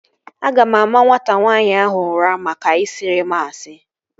Aga m ama nwata nwaanyị ahụ ụra maka ị siri m asị